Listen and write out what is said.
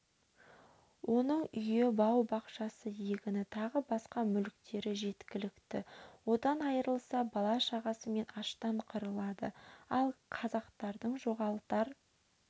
оның үйі бау-бақшасы егіні тағы басқа мүліктері жеткілікті одан айырылса бала-шағасымен аштан қырылады ал қазақтардың жоғалтар